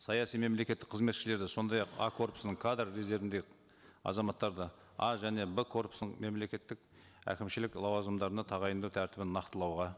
саяси мемлекеттік қызметшілерді сондай ақ а корпусының кадр резервіндегі азаматтарды а және б корпусының мемлекеттік әкімшілік лауазымдарына тағайындау тәртібін нақтылауға